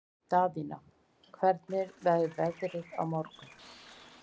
Daðína, hvernig verður veðrið á morgun?